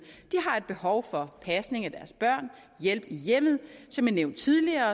et behov for pasning af og hjælp i hjemmet som jeg nævnte tidligere